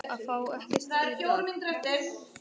Það var svekkjandi að fá ekkert hér í dag.